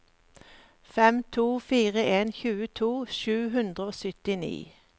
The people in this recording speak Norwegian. fem to fire en tjueto sju hundre og syttini